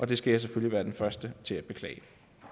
det skal jeg selvfølgelig være den første til at beklage